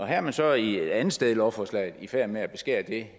her er man så et andet sted i lovforslaget i færd med at beskære det